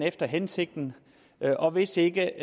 efter hensigten og hvis ikke